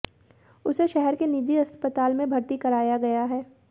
उसे शहर के निजी अस्पताल में भर्ती कराया गया है